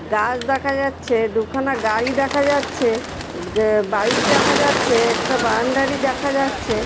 গাছ দেখা যাচ্ছে। দুখানা গাড়ি দেখা যাচ্ছে। গ বাইক দেখা যাচ্ছে। একটা বাউন্ডারি দেখা যাচ্ছে।